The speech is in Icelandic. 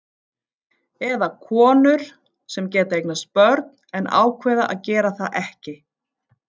Eða konur sem geta eignast börn en ákveða að gera það ekki.